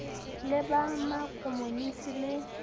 le ba ma komonisi le